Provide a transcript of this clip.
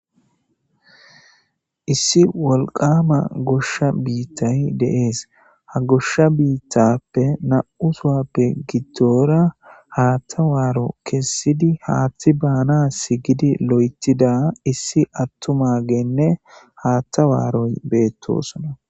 Issi wolqama goshsha biittay de7ees ha goshsha biittappe na7u suwappe gidtora haattawaaro kessidi haaththi baana sigidi lo7etida issi attuma geenne haatta waaroy beettosona.